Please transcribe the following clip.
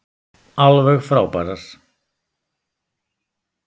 Alveg frábærar.